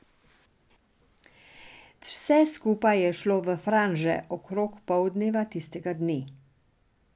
Vse skupaj je šlo v franže okrog poldneva tistega dne.